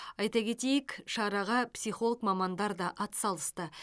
айта кетейік шараға психолог мамандар да атсалысты